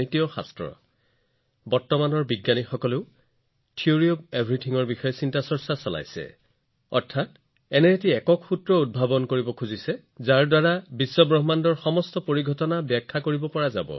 এতিয়া আনকি বিজ্ঞানীসকলেও সকলো বস্তুৰ তত্ত্ব অৰ্থাৎ একক সূত্ৰৰ বিষয়ে আলোচনা কৰে যাৰ পৰা বিশ্বব্ৰহ্মাণ্ডৰ সকলোবোৰ তথ্য প্ৰকাশ কৰিব পাৰি